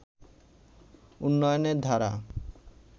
উন্নয়নের ধারা